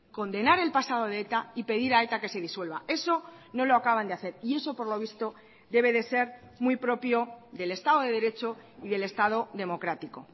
condenar el pasado de eta y pedir a eta que se disuelva eso no lo acaban de hacer y eso por lo visto debe de ser muy propio del estado de derecho y del estado democrático